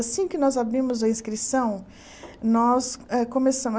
Assim que nós abrimos a inscrição, nós hã